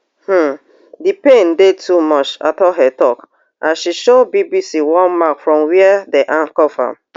um di pain dey too much atuhaire tok as she show bbc one mark from wia dem handcuff am